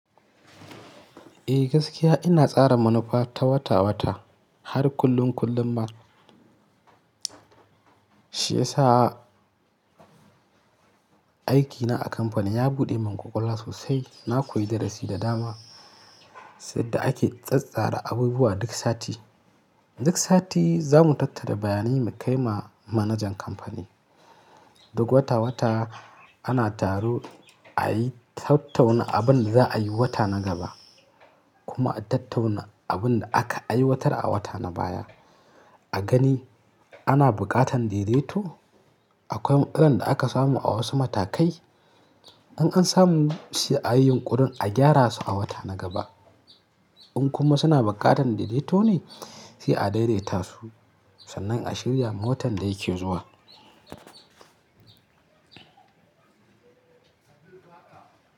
Eh gaskiya ina tsara manufa ta wata wata har kullum kullum ma. Shi yasa aikina a kamfani ya buɗe mun ƙwaƙƙwalwa sosai. Na koyi darasi da dama, sai da ake tsattsara abubuwa duk sati. Duk sati za mu tattara bayanai mu kai ma manajan kamfani. Duk wata wata ana taro ayi tattauna abin da za'a yi wata na gaba kuma a tattauna abin da aka ai watar a wata na baya. A gani ana buƙatan daidaito. Akwai matsalan da aka samu a wasu matakai. In an samu sai ayi yun ƙurin a gyara su a wata na gaba. In kuma suna buƙatan daidaito ne, sai a daidaita su sannan a shirya ma watan da yake zuwa.